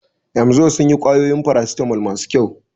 Emzor sun yi ƙwayoyin farasitamol masu kyau.